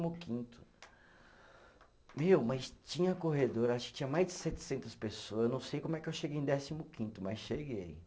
quinto. Meu, mas tinha corredor, acho que tinha mais de setecentas pessoas, eu não sei como é que eu cheguei em décimo quinto, mas cheguei.